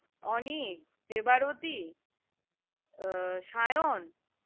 অনি দেবারতি আহ সায়ন